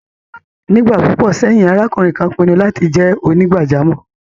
Nígbà púpọ̀ sẹ́yìn, arákùnrin kan pinnu láti jẹ́ onígbàjámọ̀.